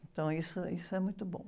Então, isso, isso é muito bom.